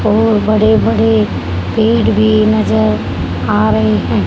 और बड़े बड़े पेड़ भी नजर आ रहे हैं।